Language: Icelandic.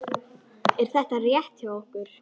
Er þetta rétt hjá okkur?